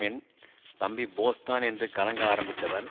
என் தம்பி போஸ் தான் என்று கலங்க ஆரம்பித்தவன்